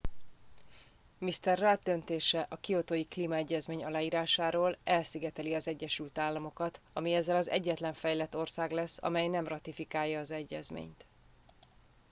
mr rudd döntése a kyotói klímaegyezmény aláírásáról elszigeteli az egyesült államokat ami ezzel az egyetlen fejlett ország lesz amely nem ratifikálja az egyezményt